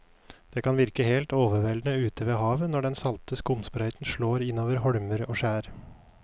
Det kan virke helt overveldende ute ved havet når den salte skumsprøyten slår innover holmer og skjær.